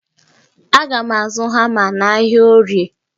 Aga m azụ hama n'ahịa orie.